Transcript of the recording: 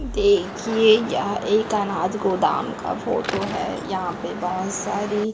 देखिए यह एक अनाज गोदाम का फोटो है यहां पे बहोत सारी--